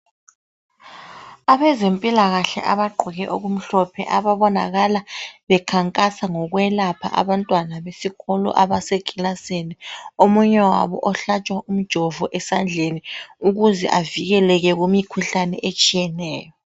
Abezempilakahle abagqoke okumhlophe ababonakala bekhankasa ngokwelapha abantwana besikolo abaseclassini, omunye wabo ohlatshwa umjovo esandleni ukuze avikeleke kumikhuhlane etshiyeneyo.